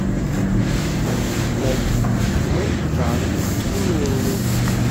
найти фильмы в жанре семейный